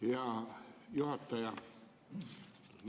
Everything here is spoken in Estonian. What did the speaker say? Hea juhataja!